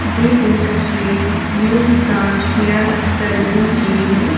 दी गई तस्वीर new Taj hair salon की है।